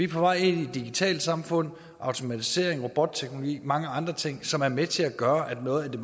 på vej ind i et digitalt samfund med automatisering robotteknologi og mange andre ting som er med til at gøre at noget af det